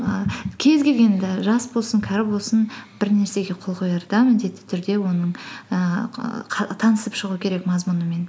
і кез келгенді жас болсын кәрі болсын бір нәрсеге қол қоярда міндетті түрде оның ііі танысып шығу керек мазмұнымен